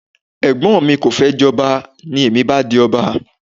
Ẹ̀gbọ́n mi kò fẹ́ jọba, ní èmi bá di ọba